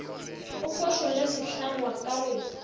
a phošolle sehlangwa ka go